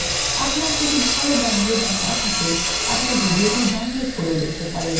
আপনার যদি ভাল bandwidth না থাকে আপনি ভিডিওটি download করেও দেখতে পারেন